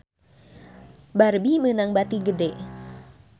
Barbie meunang bati gede